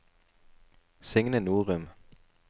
Signe Norum